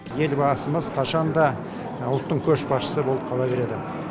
елбасымыз қашан да ұлттың көшбасшысы болып қала береді